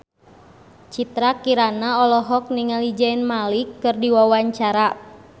Citra Kirana olohok ningali Zayn Malik keur diwawancara